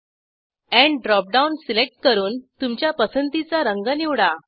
end dropdown select करून तुमच्या पसंतीचा रंग निवडा